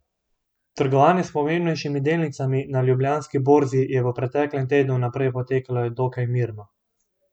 Trgovanje s pomembnejšimi delnicami na Ljubljanski borzi je v preteklem tednu najprej potekalo dokaj mirno.